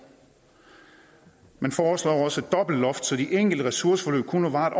man foreslår også et dobbeltloft så de enkelte ressourceforløb kun må vare